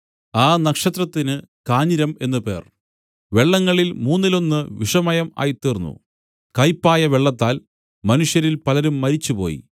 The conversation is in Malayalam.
ആ നക്ഷത്രത്തിന് കാഞ്ഞിരം എന്നു പേർ വെള്ളങ്ങളിൽ മൂന്നിലൊന്നു വിഷമയം ആയിത്തീർന്നു കയ്പായ വെള്ളത്താൽ മനുഷ്യരിൽ പലരും മരിച്ചുപോയി